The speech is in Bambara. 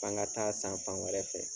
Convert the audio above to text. An ka taa san fan wɛrɛ fɛ.